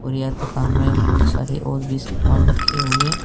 और यह दुकान में बहुत सारे और भी सामान रखे हुए --